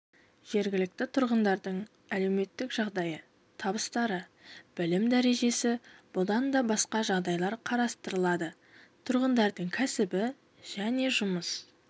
жергілікті тұрғындардың әлеуметтік жағдайы табыстары білім дәрежесі бұдан басқа да жағдайлар қарастырылады тұрғындардың кәсібі және тұрмыс